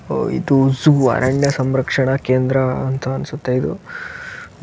ಇದು ಒಂದು ಅರಣ್ಯ ಸಂರಕ್ಷಣಾ ಕೇಂದ್ರ ಅಂತ ಅನ್ಸುತ್ತೆ ಇದು.